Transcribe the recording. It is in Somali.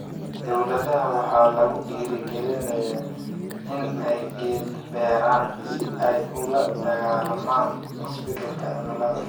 Dowladaha waxaa lagu dhiirrigelinayaa in ay geed beeraan si ay ula dagaallamaan isbeddelka cimilada.